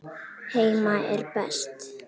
Heima er best.